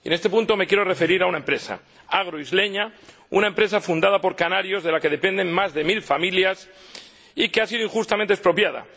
En este punto me quiero referir a una empresa, Agroisleña, una empresa fundada por canarios, de la que dependen más de mil familias, y que ha sido injustamente expropiada